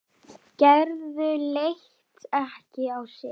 Gerður leit ekki á sitt.